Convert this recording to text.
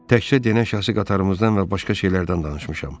Təkcə denən şəxsi qatarımızdan və başqa şeylərdən danışmışam.